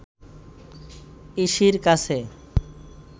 ইসির কাছে